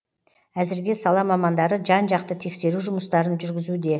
әзірге сала мамандары жан жақты тексеру жұмыстарын жүргізуде